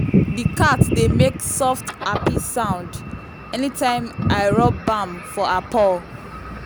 the cat dey make soft happy sound anytime i rub balm for her paw.